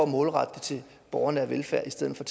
målrette det til borgernær velfærd i stedet for